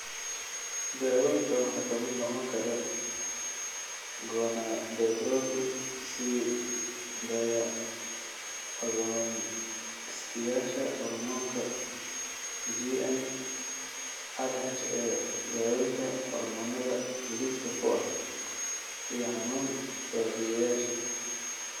Daawooyinka waxaa ka mid noqon kara gonadotropin sii daaya agonistayaasha hormoonka (GnRHa), dawooyinka hormoonnada lidka ku ah, iyo xanuun baabiiyeyaasha.